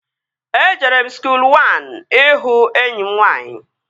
Ejere m skuul wan ịhụ enyi m nwaanyị